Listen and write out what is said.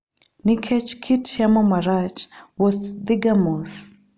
Nikech kit yamo marach, wuoth dhiga mos.